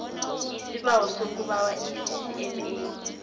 isibawo sokubawa iccma